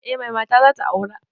Eh mai mata zata aura